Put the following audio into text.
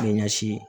Ɲɛsin